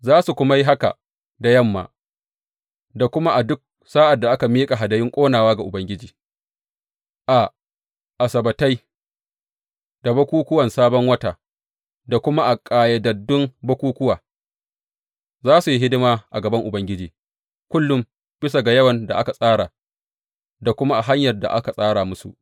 Za su kuma yi haka da yamma da kuma a duk sa’ad da aka miƙa hadayun ƙonawa ga Ubangiji a Asabbatai da bukukkuwan Sabon Wata da kuma a ƙayyadaddun bukukkuwa, za su yi hidima a gaban Ubangiji kullum bisa ga yawan da aka tsara da kuma a hanyar da aka tsara musu.